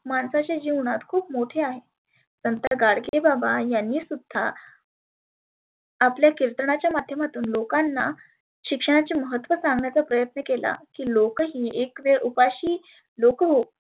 माणसाचे जिवन खुप मोठे आहे. नंतर गाडगे बाबा त्यांनी सुध्दा आपल्या किर्तणाच्या माध्यमातुन लोकांना शिक्षणाचे महत्त्व सांगण्याचा प्रयत्न केला. लोक ही एक वेळ उपाशी लोक हो